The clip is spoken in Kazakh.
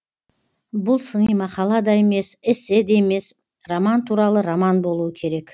бұл сыни мақала да емес эссе де емес роман туралы роман болуы керек